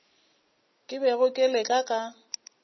ke bego ke le ka